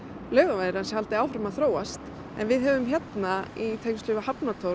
Laugavegarins haldi áfram að þróast við höfum hérna í tengslum við